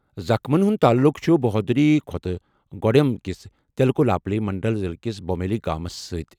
زخمیَن ہُنٛد تعلُق چھُ بھدردری کوتھاگوڈیم کِس ٹیکولاپلی منڈل ضلعہٕ کِس بھومپلی گامَس سۭتۍ۔